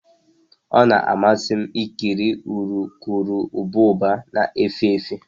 Ọ na-amasị m ikiri urukurubụba na-efe efe